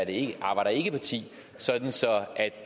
et arbejder ikke parti så